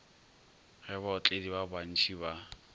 ge baotledi ba bantši ba